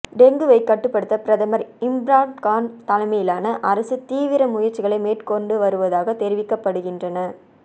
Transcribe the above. டெங்குவை கட்டுப்படுத்த பிரதமர் இம்ரான்கான் தலைமையிலான அரசு தீவிர முயற்சிகளை மேற்கொண்டு வருவதாக தெரிவிக்கப்படுகின்றன